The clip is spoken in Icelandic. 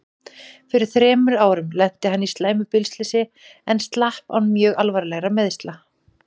Fyrir þremur árum lenti hann í slæmu bílslysi en slapp án mjög alvarlegra meiðsla.